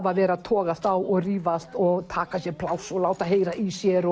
að vera að toga á og rífast og taka sér pláss og láta heyra í sér